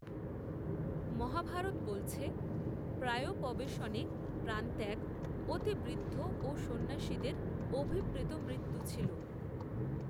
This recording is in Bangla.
মহাভারত বলছে, প্রায়োপবেশনে প্রাণত্যাগ, অতি বৃদ্ধ, ও সন্ন্যাসীদের, অভিপ্রেত মৃত্যু ছিল